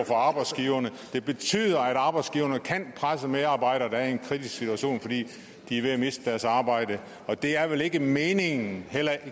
for arbejdsgiverne det betyder at arbejdsgiverne kan presse medarbejdere der er i en kritisk situation fordi de er ved at miste deres arbejde og det er vel ikke meningen